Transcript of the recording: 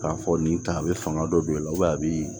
K'a fɔ nin ta a bɛ fanga dɔ don i la a b'i